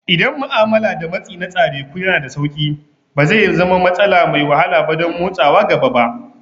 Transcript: Idan ma'amala da matsi na tsareku yana da sauƙi, ba zai zama matsala mai wahala ba don motsawa gaba ba.